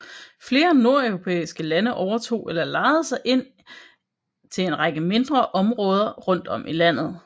Flere nordeuropæiske lande overtog eller lejede sig til en række mindre områder rundt om i landet